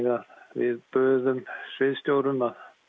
við buðum sviðsstjórum